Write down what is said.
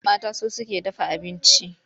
Mata su suke dafa abinci.